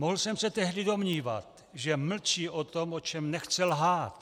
Mohl jsem se tehdy domnívat, že mlčí o tom, o čem nechce lhát.